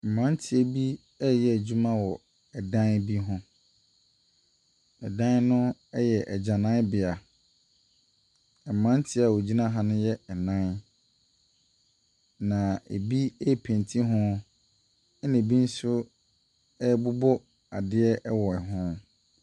Mmeranteɛ bi reyɛ adwuma wɔ dan bi ho. Dan no yɛ agyananbea. Mmeranteɛ a wɔgyina ha no yɛ nnan, na ebi repenti ho, na bi nso rebobɔ adeɛ wɔ ho.